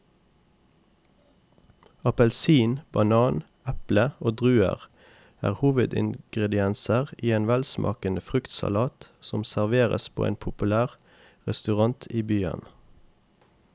Appelsin, banan, eple og druer er hovedingredienser i en velsmakende fruktsalat som serveres på en populær restaurant i byen.